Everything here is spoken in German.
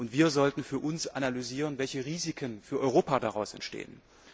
Wir sollten für uns analysieren, welche Risiken für Europa daraus entstehen.